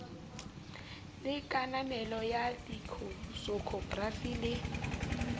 le kananelo ya leksikhokrafi le